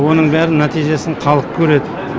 оның бәрінің нәтижесін халық көреді